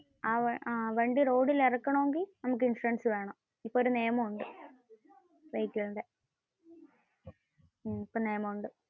വണ്ടി റോഡിൽ ഇറക്കണം എങ്കിൽ നമുക്കു ഇൻഷുറൻസ് വേണം, ഇപ്പോ ഒരു നിയമം ഉണ്ട്.